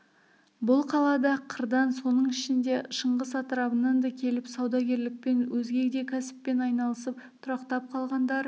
бұл қалада қырдан соның ішінде шыңғыс атырабынан да келіп саудагерлікпен өзге де кәсіппен айналысып тұрақтап қалғандары